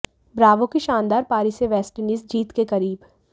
Bravo की शानदार पारी से वेस्टइंडीज जीत के करीब